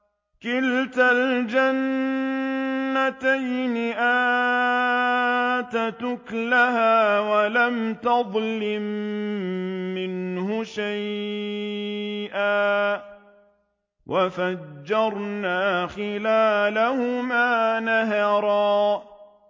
كِلْتَا الْجَنَّتَيْنِ آتَتْ أُكُلَهَا وَلَمْ تَظْلِم مِّنْهُ شَيْئًا ۚ وَفَجَّرْنَا خِلَالَهُمَا نَهَرًا